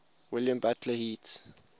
william butler yeats